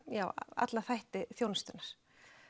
alla þætti þjónustunnar